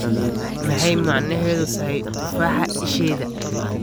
maxay micneheedu tahay tufaaxa ishayda